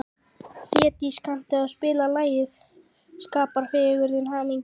Hlédís, kanntu að spila lagið „Skapar fegurðin hamingjuna“?